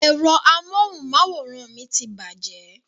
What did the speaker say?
Ẹ̀rọ amóhùnmáwòrán mi ti bàjẹ́